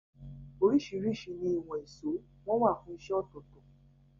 Orísìrísi ni ìwòn ìsó, won wa fún isẹ́ òtòtò